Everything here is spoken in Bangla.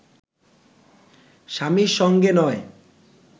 স্বামীর সঙ্গে নয়